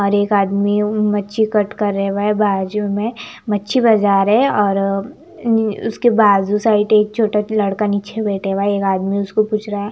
और एक आदमी मच्छी कट कर रहे हैं वह बाजू में मच्छी बाजार है और अह उसके बाजू साइड एक छोटा सा लड़का नीचे बैठे हुआ है एक आदमी उसको पूछ रहा है।